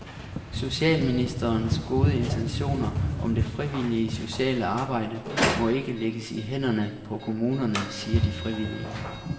Socialministerens gode intentioner for det frivillige sociale arbejde må ikke lægges i hænderne på kommunerne, siger de frivillige.